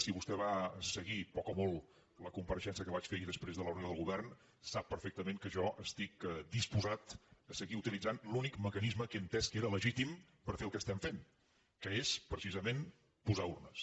si vostè va seguir poc o molt la compareixença que vaig fer ahir després de la reunió del govern sap perfectament que jo estic disposat a seguir utilitzant l’únic mecanisme que he entès que era legítim per fer el que estem fent que és precisament posar urnes